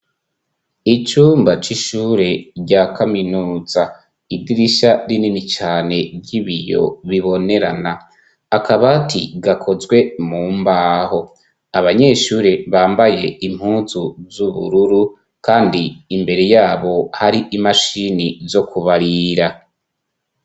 Icumba c'ishure rya kaminuza igirisha rinini cane ry'ibiyo bibonerana akabati gakozwe mu mbaho abanyeshure bambaye impuzu z'ubururu, kandi imbere yabo hari imashini zo kubarira.